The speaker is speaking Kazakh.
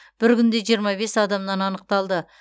бір күнде жиырма бес адамнан анықталды